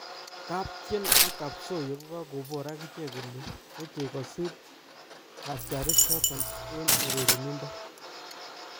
Kaptien ak kosoiyo kokakobor akichek kole mechei kosir katyarik chotok eng urerindo